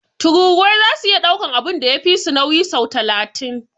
Tururuwai zasu iya daukan abun da ya fisu nauyi sau talatin.